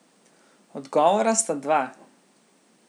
Odgovora sta dva.